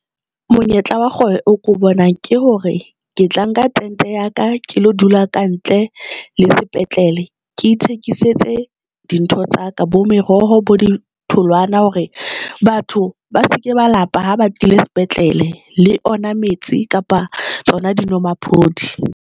Monyetla wa kgwebo o ko bonang ke hore ke tla nka tente ya ka, ke lo dula ka ntle le sepetlele ke ithekisetse dintho tsa ka bo meroho bo ditholwana hore batho ba seke ba lapa ha batlile sepetlele le ona metsi kapa tsona dinomaphodi.